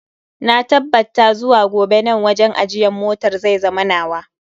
Na tabbabta zuwa gobe nan wajen ajiyan motar zai zama nawa.